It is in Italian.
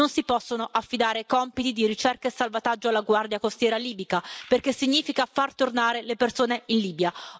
Non si possono affidare compiti di ricerca e salvataggio alla Guardia costiera libica perché significa far tornare le persone in Libia.